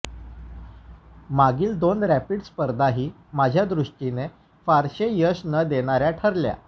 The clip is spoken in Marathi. मागील दोन रॅपिड स्पर्धाही माझ्या दृष्टीने फारसे यश न देणाऱया ठरल्या